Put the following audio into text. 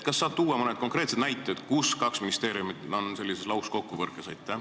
Kas sa saad tuua mõne konkreetse näite, kus kahel ministeeriumil on lauskokkupõrge?